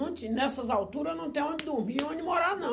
Não tinha, nessas alturas, não tem onde dormir e onde morar, não.